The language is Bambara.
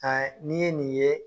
A n'i ye nin ye